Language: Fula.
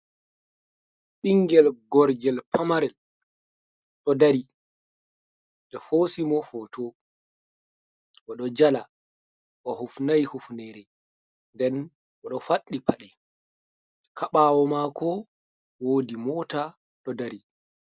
Ɓingel gorgel pamarel ɗo dari ɓe hosi mo hoto oɗo jala o hufnai hifnere nden oɗo paɗi paɗe ha mako woodi mota ha ɓawo mako.